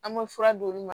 An bɛ fura d'olu ma